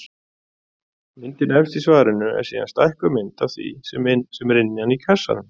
Myndin efst í svarinu er síðan stækkuð mynd af því sem er innan í kassanum.